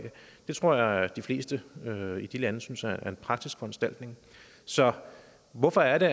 det tror jeg at de fleste i de lande synes er en praktisk foranstaltning så hvorfor er det